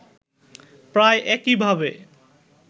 প্রায় একইভাবে